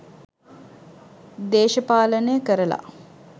දේශපාලනය කරලා.